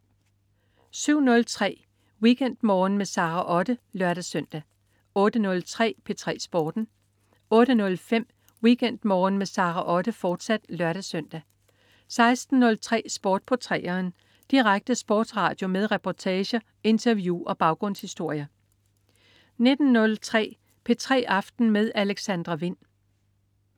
07.03 WeekendMorgen med Sara Otte (lør-søn) 08.03 P3 Sporten 08.05 WeekendMorgen med Sara Otte, fortsat (lør-søn) 16.03 Sport på 3'eren. Direkte sportsradio med reportager, interview og baggrundshistorier 19.03 P3 aften med Alexandra Wind